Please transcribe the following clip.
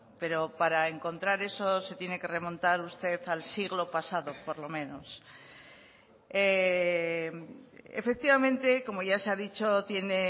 pero para encontrar eso se tiene que remontar usted al siglo pasado por lo menos efectivamente como ya se ha dicho tiene